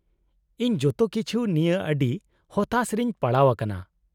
-ᱤᱧ ᱡᱚᱛᱚ ᱠᱤᱪᱷᱩ ᱱᱤᱭᱟᱹ ᱟᱹᱰᱤ ᱦᱚᱛᱟᱥ ᱨᱮᱧ ᱯᱟᱲᱟᱣ ᱟᱠᱟᱱᱟ ᱾